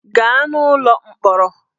Gaa n'ụlọ mkpọrọ!